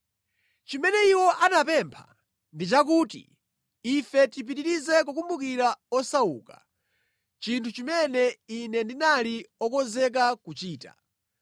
Chimene iwo anapempha ndi chakuti ife tipitirize kukumbukira osauka, chinthu chimene ine ndinali okonzeka kuchichita.